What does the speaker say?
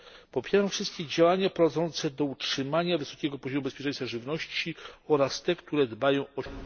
Popieram wszystkie działania prowadzące do utrzymania wysokiego poziomu bezpieczeństwa żywności oraz te, które dbają o